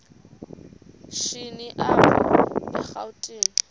shini apho erawutini